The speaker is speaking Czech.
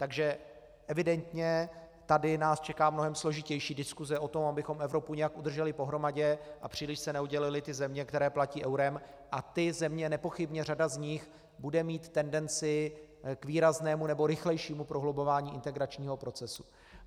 Takže evidentně tady nás čeká mnohem složitější diskuse o tom, abychom Evropu nějak udrželi pohromadě a příliš se neoddělily ty země, které platí eurem, a ty země - nepochybně řada z nich bude mít tendenci k výraznému nebo rychlejšímu prohlubování integračního procesu.